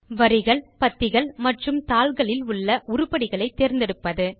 வரிகள் பத்திகள் மற்றும் தாள்களில் உள்ள உருப்படிகளை தேர்ந்தெடுப்பது